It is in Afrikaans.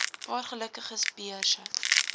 paar gelukkiges beurse